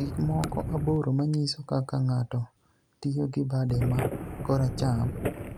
Gik moko aboro maniyiso kaka nig'ato tiyo gi bade ma koracham